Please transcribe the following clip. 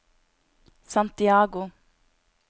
Santiago